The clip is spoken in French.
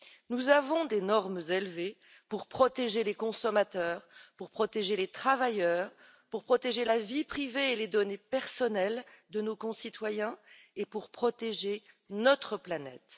Nous avons des normes élevées pour protéger les consommateurs, pour protéger les travailleurs, pour protéger la vie privée et les données personnelles de nos concitoyens et pour protéger notre planète.